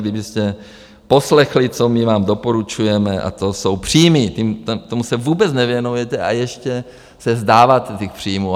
Kdybyste poslechli, co my vám doporučujeme, a to jsou příjmy, tomu se vůbec nevěnujete a ještě se vzdáváte těch příjmů.